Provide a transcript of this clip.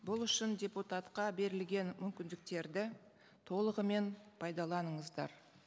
бұл үшін депутатқа берілген мүмкіндіктерді толығымен пайдаланыңыздар